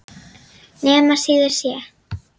Nema síður sé.